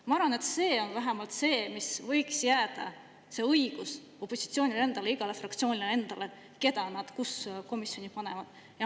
Ma arvan, et see õigus võiks ikka jääda, et iga fraktsioon, kelle nad millisesse komisjoni panevad.